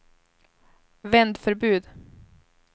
vändförbud